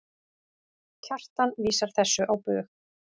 Kjartan vísar þessu á bug.